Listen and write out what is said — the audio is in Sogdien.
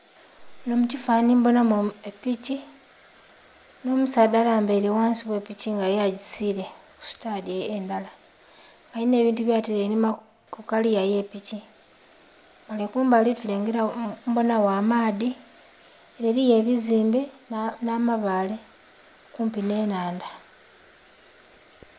Muno mu kifanhanhi mbonamu epiki n'omusaadha alambaile ghansi gh'epiki nga yo agisiile ku sitadi endhala. Alina ebintu byataile einhuma ku kaliya ey'epiki, ghale kumbali mbonagho amaadhi ele eliyo ebizimbe n'amabaale kumpi n'ennhandha.